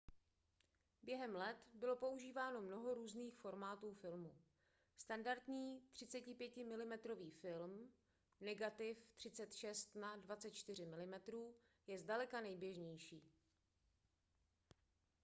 během let bylo používáno mnoho různých formátů filmu. standardní 35 mm film negativ 36 na 24 mm je zdaleka nejběžnější